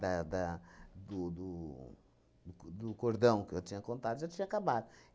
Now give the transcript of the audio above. Da da do do do co do cordão que eu tinha contado, já tinha acabado.